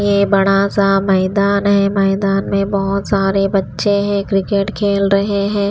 ये बड़ा सा मैदान है मैदान में बहुत सारे बच्चे हैं क्रिकेट खेल रहे हैं।